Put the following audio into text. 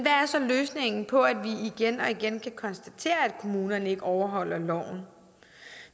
er så løsningen på at vi igen og igen kan konstatere at kommunerne ikke overholder loven